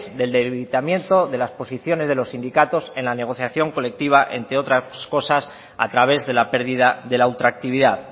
del debilitamiento de las posiciones de los sindicatos en la negociación colectiva entre otras cosas a través de la pérdida de la ultra actividad